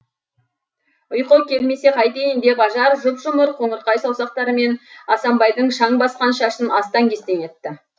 ұйқы келмесе қайтейін деп ажар жұп жұмыр қоңырқай саусақтарымен асанбайдың шаң басқан шашын астан кестен етті